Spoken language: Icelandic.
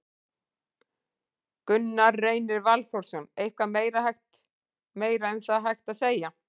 Gunnar Reynir Valþórsson: Eitthvað meira hægt, meira um það hægt að segja?